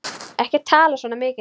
Ekki tala svona mikið!